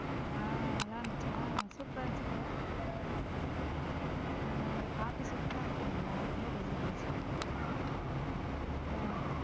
ஹம் நல்ல இருந்துச்சா super ஆ இருந்துச்சுலா ஹம் கார்த்தி super ஆ act பன்னிருதான் என்னக்கு ரொம்ப புடுசுருந்துச்சு .